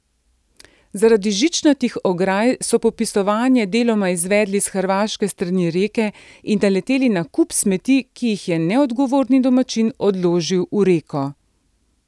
Zaradi žičnatih ograj so popisovanje deloma izvedli s hrvaške strani reke in naleteli na kup smeti, ki jih je neodgovorni domačin odložil v reko.